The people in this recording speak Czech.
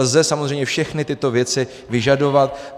Lze samozřejmě všechny tyto věci vyžadovat.